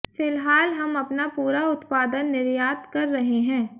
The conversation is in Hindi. फिलहाल हम अपना पूरा उत्पादन निर्यात कर रहे हैं